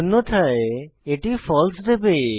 অন্যথায় এটি ফালসে দেবে